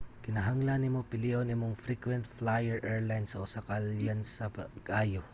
kinahanglan nimo pilion imong frequent flyer airline sa usa ka alyansa pag-ayo